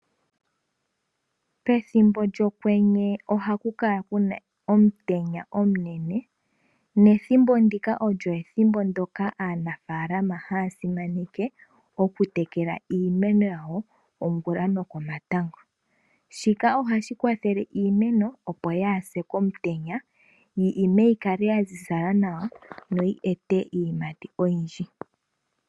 Pethimbo lyokwenye oha ku kala ku na omutenya omunene. Aantu pethimbo ndino ohaa tekele iimeno yawo ongula nokomatango. Shika ohashi kwathele iimeno opo kaa yi se komutenya yi kale ya ziza nawa yo oyi ime iiyimati oyindji.